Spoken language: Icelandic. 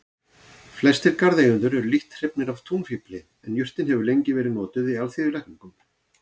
Flestir garðeigendur eru lítt hrifnir af túnfífli en jurtin hefur lengi verið notuð í alþýðulækningum.